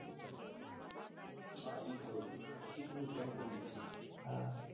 હા ઈ ખરું ભાઈ વાયસીટી નું fan કોણ નથી